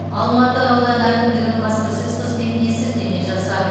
алматы ауданы әкімдігінің баспасөз қызметіне сілтеме жасап